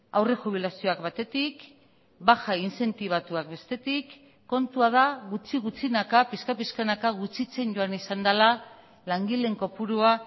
aurre jubilazioak batetik baja inzentibatuak bestetik kontua da gutxi gutxinaka pixka pixkanaka gutxitzen joan izan dela langileen kopurua